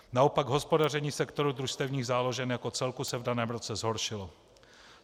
Naopak hospodaření sektoru družstevních záložen jako celku se v daném roce zhoršilo.